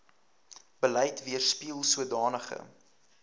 beleid weerspieel sodanige